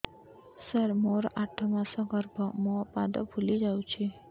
ସାର ମୋର ଆଠ ମାସ ଗର୍ଭ ମୋ ପାଦ ଫୁଲିଯାଉଛି